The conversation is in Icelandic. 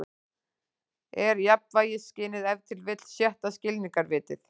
Er jafnvægisskynið ef til vill sjötta skilningarvitið?